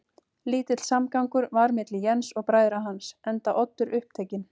Lítill samgangur var milli Jens og bræðra hans, enda Oddur upptekinn